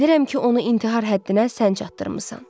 Bilirəm ki, onu intihar həddinə sən çatdırmısan.